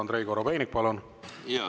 Andrei Korobeinik, palun!